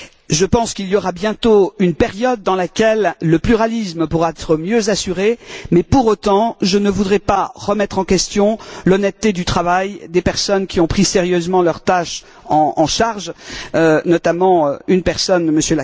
Je pense qu'il y aura bientôt une période dans laquelle le pluralisme pourra être mieux assuré mais, pour autant, je ne voudrais pas remettre en question l'honnêteté du travail des personnes qui ont pris sérieusement leur tâche en charge, notamment une personne, M.